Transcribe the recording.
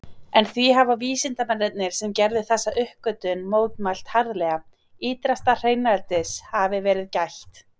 En því hafa vísindamennirnir sem gerðu þessa uppgötvun mótmælt harðlega, ýtrasta hreinlætis hafi verið gætt.